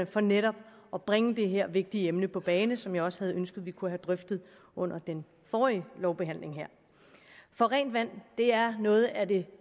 for netop at bringe det her vigtige emne på bane som jeg også havde ønsket vi kunne have drøftet under den forrige lovbehandling her for rent vand er noget af det